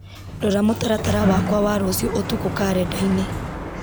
rora mũtaratara wakwa wa rũciũ ũtukũ karenda-inĩ